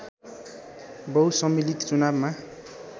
बहुसम्मिलित चुनावमा